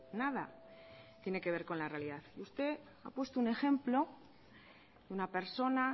nada tiene que ver con la realidad usted ha puesto un ejemplo una persona